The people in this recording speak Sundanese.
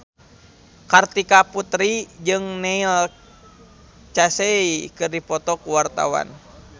Kartika Putri jeung Neil Casey keur dipoto ku wartawan